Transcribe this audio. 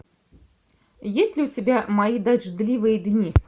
есть ли у тебя мои дождливые дни